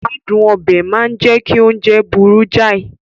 Adun obe máa ń jẹ́ kí oúnjẹ burú jáì